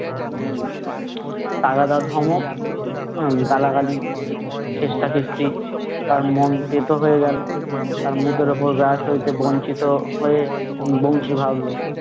তাগাদা ধমক আহ গালাগালি খেসটা-খেস্তি, তার মন তেতো হয়ে গেলো, তার মুখের ওপর গা বঞ্চিত হয়ে বংশী ভাবলো